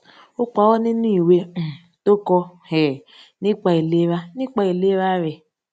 ó paró nínú ìwé um tó kọ um nípa ìlera nípa ìlera rè